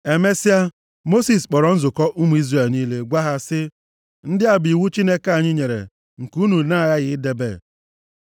Emesịa, Mosis kpọrọ nzukọ ụmụ Izrel niile gwa ha sị, “Ndị a bụ iwu Onyenwe anyị nyere nke unu na-aghaghị idebe.